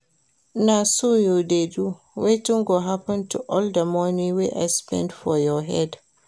Na so you dey do? wetin go happen to all the money wey I spend for your head